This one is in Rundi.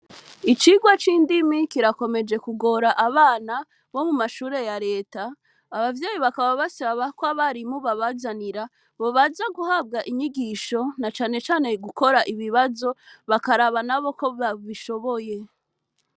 Icigwa c'indimi kirakomeje kugora abana bo mu mashure ya reta, abavyeyi bakaba basaba ko abarimu babazanira, bobanza guhabwa inyigisho na cane cane gukora ibibazo, bakaraba nabo ko babishoboye.